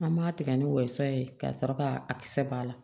An b'a tigɛ ni wɔyɔ ye ka sɔrɔ ka a kisɛ b'a la